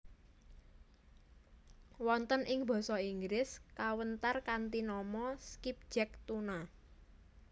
Wonten ing Basa Inggris kawentar kanthi nama skipjack tuna